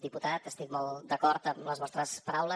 diputat estic molt d’acord amb les vostres paraules